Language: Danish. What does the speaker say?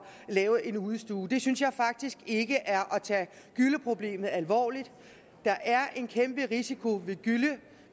lave en udestue det synes jeg faktisk ikke er at tage gylleproblemet alvorligt der er en kæmpe risiko ved gylle